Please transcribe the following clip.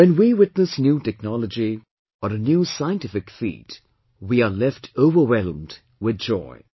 When we witness new technology, or a new scientific feat, we are left overwhelmed with joy